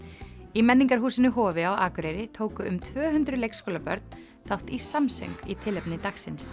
í menningarhúsinu Hofi á Akureyri tóku um tvö hundruð leikskólabörn þátt í samsöng í tilefni dagsins